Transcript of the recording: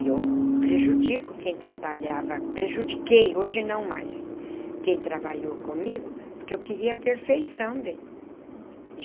E eu prejudico quem trabalhava... Prejudiquei, hoje não mais, quem trabalhou comigo, porque eu queria perfeição, bem.